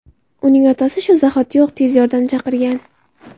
Uning otasi shu zahotiyoq tez yordam chaqirgan.